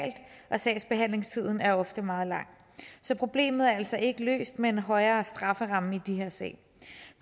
og sagsbehandlingstiden er ofte meget lang så problemet er altså ikke løst med en højere strafferamme i de her sager